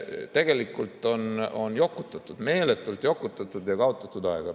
Tegelikult on jokutatud, meeletult jokutatud ja on kaotatud aega.